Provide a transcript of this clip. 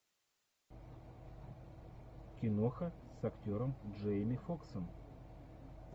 киноха с актером джейми фоксом